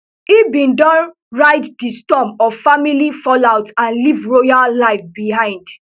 e bin don ride di storm of family fallout and leave royal life behind